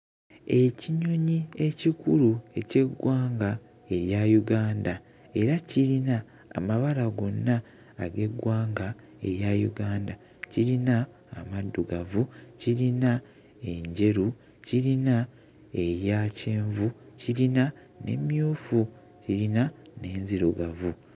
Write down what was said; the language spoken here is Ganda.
Ekinyonyi ekikulu eky'eggwanga erya Uganda era kirina amabala gonna ag'eggwanga erya Uganda. Kirina amaddugavu, kirina enjeru, kirina eya kyenvu, kirina n'emmyufu, kirina n'enzirugavu.